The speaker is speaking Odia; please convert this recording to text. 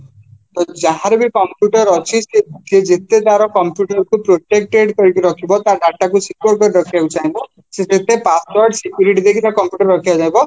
ତ ଜହାରବି computer ଅଛି ସେ ଯେତେତାର computer କୁ protected କରିକି ରଖିବା ତା data କୁ squire କରି ରଖିବାକୁ ଚାହିଁବା ସେ password security ରଖିବାକୁ ଚାହିଁବ